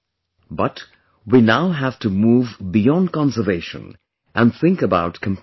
But, we now have to move beyond conservation and think about compassion